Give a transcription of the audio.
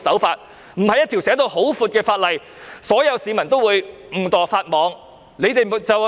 法例的定義籠統，所有市民都會誤墮法網。